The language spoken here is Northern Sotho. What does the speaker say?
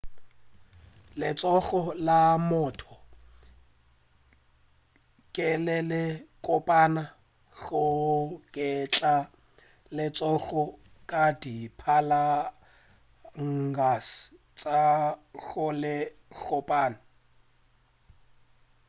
letsogo la motho ke le le kopana go geta letsogo ka di phalanges tša go se kgopame